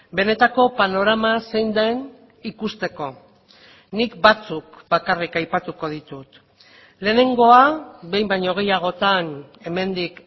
benetako panorama zein den ikusteko nik batzuk bakarrik aipatuko ditut lehenengoa behin baino gehiagotan hemendik